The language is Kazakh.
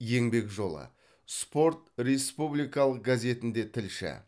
еңбек жолы спорт республикалық газетінде тілші